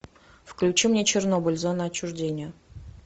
включи мне чернобыль зона отчуждения